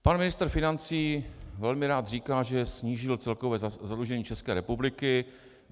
Pan ministr financí velmi rád říká, že snížil celkové zadlužení České republiky.